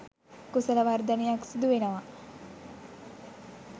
කුසල වර්ධනයක් සිදු වෙනවා